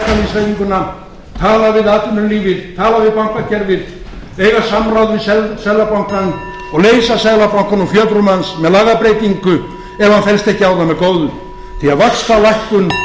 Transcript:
verkalýðshreyfinguna tala við atvinnulífið tala við bankakerfið eiga samráð við seðlabankann og leysa seðlabankann úr fjötrum hans með lagabreytingu ef hann fellst ekki á það með góðu því